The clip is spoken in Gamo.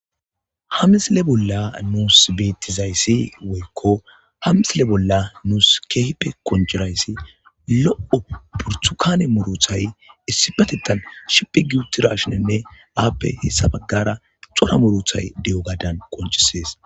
ha misile bolla nuus bettizayssi woykko ha misile bolla nuus keehipe qoncirayssi lo7o purtukane muruthay issi batettan shipi giutirashinenne aappe hessa baggara xora muruthay de7o gaadan qoncisees